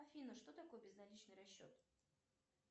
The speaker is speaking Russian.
афина что такое безналичный расчет